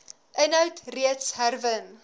inhoud reeds herwin